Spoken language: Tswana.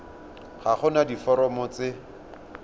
ga go na diforomo tse